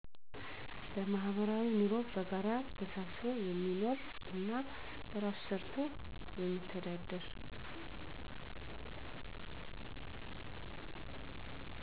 በማህበራዊ ንሮ በጋራ ተሳስቦ የሚኖር እና በራሱ ሰርቶ የሚተዳደር